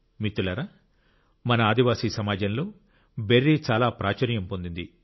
మిత్రులారా మన ఆదివాసీ సమాజంలో బెర్రీ చాలా ప్రాచుర్యం పొందింది